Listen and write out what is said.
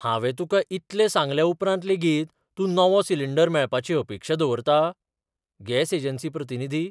हांवें तुकां इतलें सांगल्या उपरांत लेगीत तूं नवो सिलिंडर मेळपाची अपेक्षा दवरता? गॅस एजन्सी प्रतिनिधी